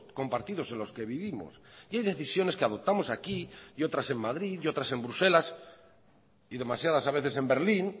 compartidos en los que vivimos y hay decisiones que adoptamos aquí y otras en madrid y otras en bruselas y demasiadas a veces en berlín